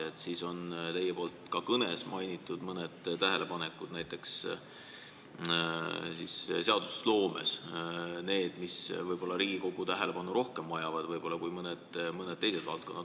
Te mainisite ka oma kõnes mõningaid tähelepanekuid, et seadusloomes vajavad mõned valdkonnad Riigikogu tähelepanu rohkem kui mõned teised valdkonnad.